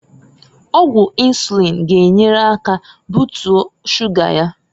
Ọgwụ insuliin g'enye aka butie shuga ya.